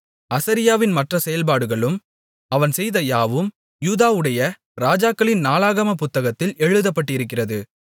அசரியாவின் மற்ற செயல்பாடுகளும் அவன் செய்த யாவும் யூதாவுடைய ராஜாக்களின் நாளாகமப் புத்தகத்தில் எழுதப்பட்டிருக்கிறது